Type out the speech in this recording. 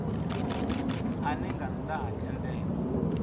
ane nga nnda ha thendelo